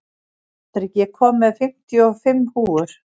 Patrik, ég kom með fimmtíu og fimm húfur!